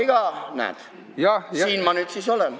Aga näed, siin ma nüüd siis olen.